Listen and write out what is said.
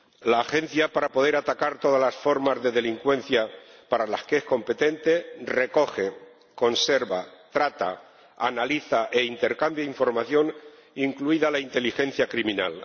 La Agencia, para poder atacar todas las formas de delincuencia para las que es competente, recoge, conserva, trata, analiza e intercambia información, incluida la inteligencia criminal.